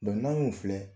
n'an y'u filɛ